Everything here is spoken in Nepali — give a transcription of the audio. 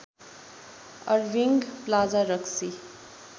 अर्भिन्ग प्लाजा रक्सी